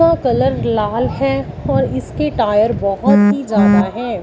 का कलर लाल है और इसके टायर बहुत ही ज्यादा है।